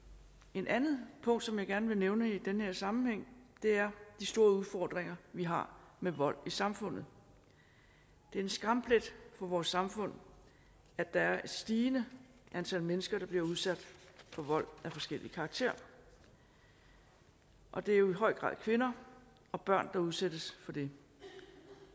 et andet punkt som jeg gerne vil nævne i den her sammenhæng er de store udfordringer vi har med vold i samfundet det er en skamplet for vores samfund at der er et stigende antal mennesker der bliver udsat for vold af forskellig karakter og det er jo i høj grad kvinder og børn der udsættes for det